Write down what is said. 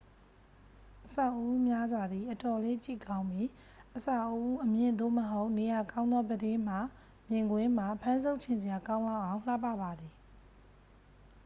အဆောက်အဦများစွာသည် အတော်လေး ကြည့်ကောင်းပြီး အဆောက်အဦအမြင့် သို့မဟုတ် နေရာကောင်းသော ပြတင်းမှ မြင်ကွင်းမှာ ဖမ်းဆုပ်ချင်စရာကောင်းလောက်အောင် လှပ ပါသည်